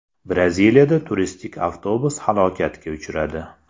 Braziliyada turistik avtobus halokatga uchradi.